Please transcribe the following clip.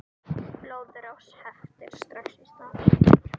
Blóðrás heftir strax í stað.